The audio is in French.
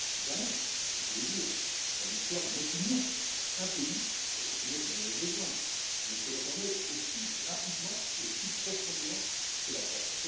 Jamais, on peut le dire, dans l'histoire de notre Union, un pays et il faut dire qu'il en avait besoin ne s'est réformé aussi rapidement et aussi profondément que la Grèce.